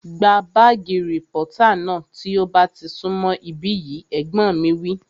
Gba bààgì rìpọ́tà náà tí ó bá ti sún mọ̀ ibí yìí! Ẹ̀gbọ́n mi wí